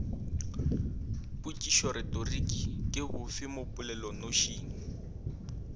potšišoretoriki ke bofe mo polelonošing